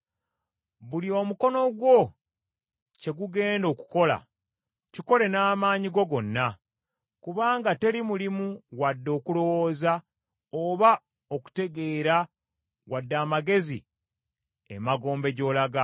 Buli omukono gwo kye gugenda okukola, kikole n’amaanyi go gonna; kubanga teri mulimu wadde okulowooza, oba okutegeera wadde amagezi emagombe gy’olaga.